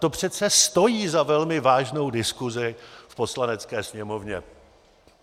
To přece stojí za velmi vážnou diskusi v Poslanecké sněmovně.